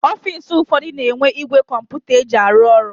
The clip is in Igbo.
Ọfisi ụfọdụ na-enwe igwe kọmputa eji arụ ọrụ.